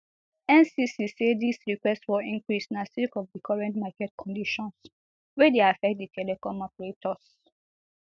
ncc say dis request for increase na sake of di current market conditions wey dey affect di telcom operators